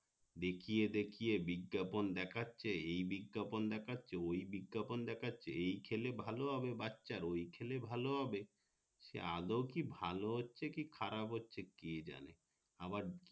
দেখিয়ে দেখিয়ে বিজ্ঞাপন দেখাচ্ছে এই বিজ্ঞাপন দেখাচ্ছে ওই বিজ্ঞাপন দেখাচ্ছে এই খেলে ভালো হবে বাছার ওই খেলে ভালো হবে সে আদেও কি ভালো হচ্ছে বা কি খারাপ হচ্ছে কে জানে আবার